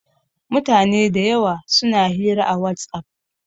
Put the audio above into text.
Mutane da yawa suna hira a WhatsApp.